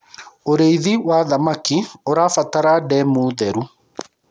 ũrĩithi wa thamakĩ ũrabatara ndemu theru